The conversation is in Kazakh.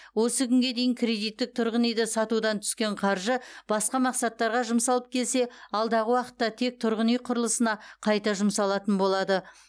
осы күнге дейін кредиттік тұрғын үйді сатудан түскен қаржы басқа мақсаттарға жұмсалып келсе алдағы уақытта тек тұрғын үй құрылысына қайта жұмсалатын болады